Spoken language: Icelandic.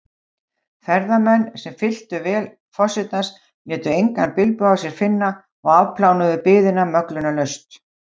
Ferðamenn, sem fylltu vél forsetans, létu engan bilbug á sér finna og afplánuðu biðina möglunarlaust.